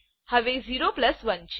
હવે 0 પ્લસ 1છે